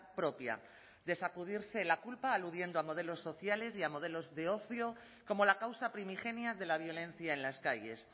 propia de sacudirse la culpa aludiendo a modelos sociales y a modelos de ocio como la causa primigenia de la violencia en las calles